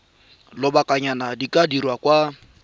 lobakanyana di ka dirwa kwa